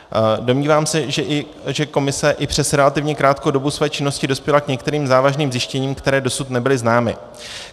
Domnívám se, že komise i přes relativně krátkou dobu své činnosti dospěla k některým závažným zjištěním, která dosud nebyla známa.